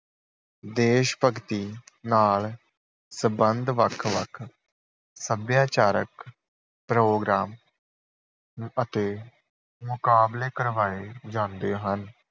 ਦੇਸ਼ ਭਗਤੀ ਨਾਲ ਸਬੰਧ ਵੱਖ ਵੱਖ ਸੱਭਿਆਚਾਰਕ ਪ੍ਰੋਗਰਾਮ ਅਤੇ ਮੁਕਾਬਲੇ ਕਰਵਾਏ ਜਾਂਦੇ ਹਨ।